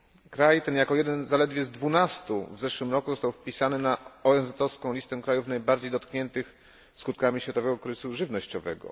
Kraj ten, jako jeden z zaledwie dwunastu w zeszłym roku został wpisany na ONZ owską listę krajów najbardziej dotkniętych skutkami światowego kryzysu żywnościowego.